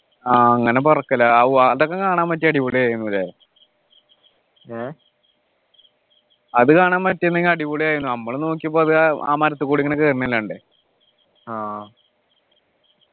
ആഹ് അങ്ങനെ പറക്കലു ആവൂ അതൊക്കെ കാണാൻ പറ്റിയാൽ അടിപൊളിയായിരുന്നു ല്ലേ അത് കാണാൻ പറ്റിയിരുന്നെങ്കിൽ അടിപൊളിയായിരുന്നു നമ്മള് നോക്കിയപ്പോ അത് ആ മരത്തു കൂടി ഇങ്ങനെ കേറുന്നതല്ലേ കണ്ടേ